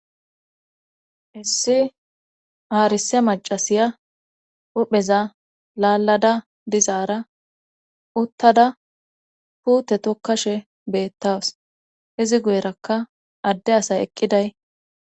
Issi aarise macasiya upheza laalada dizaara uttada puute tokkashe beettaws izi guyerakka adde asay eqqiday.